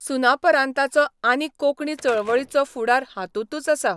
सुनापरान्ताचो आनी कोंकणी चळवळीचो फुडार हातूंतच आसा.